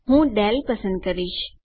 હું ડેલ પસંદ કરીશ